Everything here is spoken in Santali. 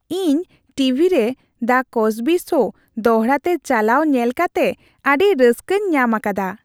ᱤᱧ ᱴᱤᱵᱷᱤ ᱨᱮ "ᱫᱟ ᱠᱚᱥᱵᱤ ᱥᱳ" ᱫᱚᱲᱦᱟᱛᱮ ᱪᱟᱞᱟᱣ ᱧᱮᱞ ᱠᱟᱛᱮ ᱟᱹᱰᱤ ᱨᱟᱹᱥᱠᱟᱹᱧ ᱧᱟᱢ ᱟᱠᱟᱫᱟ ᱾